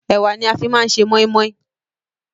Ẹ̀wá ni a fi máa ń ṣe moin-moin